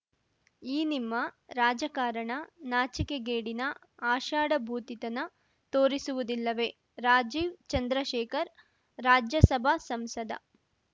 ಈ ನಿಮ್ಮ ರಾಜಕಾರಣ ನಾಚಿಕೆಗೇಡಿನ ಆಷಾಢಭೂತಿತನ ತೋರಿಸುವುದಿಲ್ಲವೇ ರಾಜೀವ್‌ ಚಂದ್ರಶೇಖರ್‌ ರಾಜ್ಯಸಭಾ ಸಂಸದ